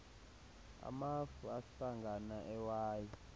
amafu ahlangana ewayi